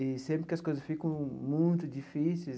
E, sempre que as coisas ficam muito difíceis,